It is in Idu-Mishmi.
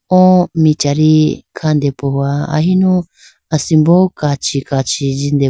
O michari khande pohowa ahinu asimbo kachi kachi jinde.